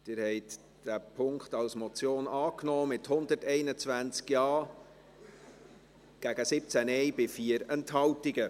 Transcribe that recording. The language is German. Sie haben diesen Punkt als Motion angenommen, mit 121 Ja- gegen 17 Nein-Stimmen bei 4 Enthaltungen.